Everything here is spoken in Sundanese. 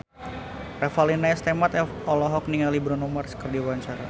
Revalina S. Temat olohok ningali Bruno Mars keur diwawancara